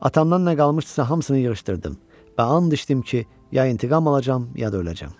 Atamdan nə qalmışdısa, hamısını yığışdırdım və and içdim ki, ya intiqam alacağam, ya da öləcəyəm.